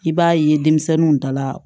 I b'a ye denmisɛnninw dala